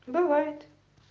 бывает